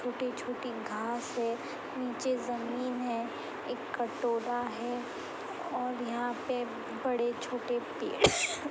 छोटे-छोटी घांस है। नीचे जमीन है। एक कटोरा है और यहां पे बड़े छोटे पेड़ --